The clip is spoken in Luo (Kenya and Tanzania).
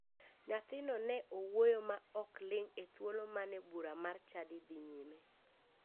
Nyathino ne wuoyo ma ok ling e thuolo mane bura mar chadi dhi nyime.